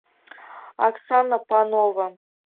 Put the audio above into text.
оксана панова